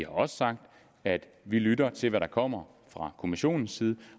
også sagt at vi lytter til hvad der kommer fra kommissionens side